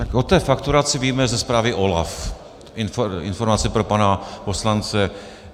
Tak o té fakturaci víme ze zprávy OLAF - informace pro pana poslance.